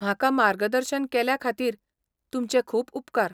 म्हाका मार्गदर्शन केल्ल्या खातीर तुमचे खूब उपकार.